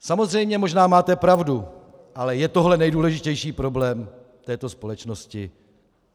Samozřejmě možná máte pravdu, ale je tohle nejdůležitější problém této společnosti?